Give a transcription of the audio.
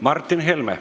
Martin Helme.